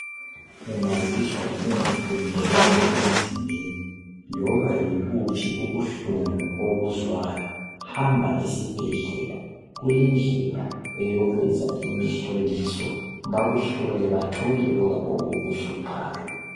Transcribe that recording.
Ungazizwa ungakhululekanga emzimbeni loba yibuphi ubuhlungu obuzwayo hamba esibhedlela kulendlela eyokwenza imihloliso bakuhlole bathole okukuhluphayo.